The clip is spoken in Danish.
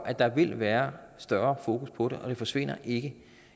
at der vil være større fokus på det og det forsvinder ikke